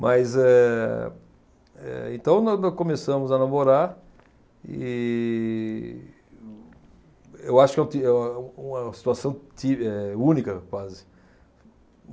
Mas, eh eh, então, no no começamos a namorar e eu acho que eu ti eh uma situação ti, eh única, quase.